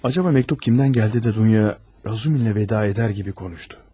Acaba məktup kimdən gəldi də Dunya Razumihinlə vəda edər kimi konuştu?